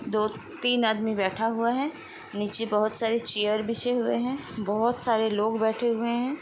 दो तीन आदमी नीचे बैठे हुए है निचे बहुत सारी चेयर बिछा हुआ है बहुत सारे लोग बैठे हुए हैं ।